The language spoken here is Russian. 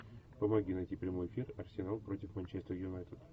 помоги найти прямой эфир арсенал против манчестер юнайтед